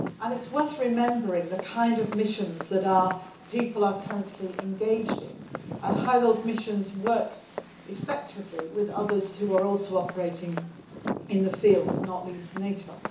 It is worth remembering the kind of missions that our people are currently engaged in and how those missions work effectively with others that are also operating in the field, not least NATO.